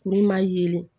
Kuru ma yelen